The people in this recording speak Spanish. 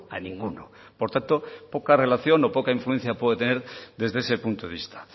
a ninguno por tanto poca relación o poca influencia puedo tener desde ese punto de vista